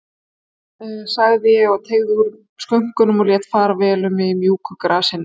sagði ég og teygði úr skönkunum, lét fara vel um mig í mjúku grasinu.